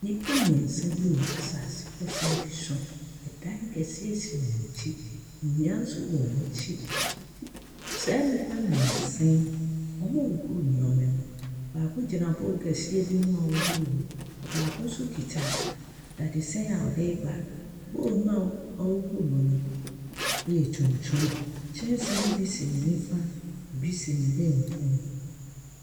Nnipa mmeɛnsa bi wɔ asase pɛsɛɛ bi so. Dan kɛseɛ si wɔn akyi. Nnua nso si wɔn akyi. B saa nnipa mmeɛnsa yi, wɔrehoro nneɛma mu. Baako gyina bowl kɛseɛ bi ho a ɔrehoro mu. Baako nso kita dadesɛn a ɔde reba. Bowl no a ɔb ɔrehohoro mu no, ɛyɛ tuntum. Kyɛnse no bi si ne nifa, ebi si benkum.